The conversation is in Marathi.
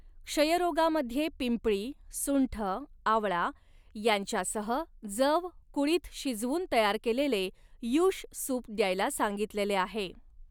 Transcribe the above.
क्षयरोगामध्ये पिंपळी, सुंठ, आवळा यांच्यासह जव, कुळीथ शिजवून तयार केलेले यूष सूप द्यायला सांगितलेले आहे.